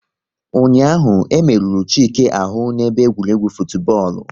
Ụnyaahụ, e merụrụ Chike ahụ n'ebe egwuregwu futubọọlu